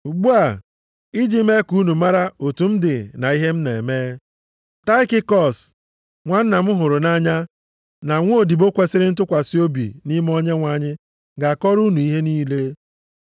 Ugbu a, iji mee ka unu mara otu m dị na ihe m na-eme, Taịkikọs, nwanna m hụrụ nʼanya na nwaodibo kwesiri ntụkwasị obi nʼime Onyenwe anyị ga-akọrọ unu ihe niile.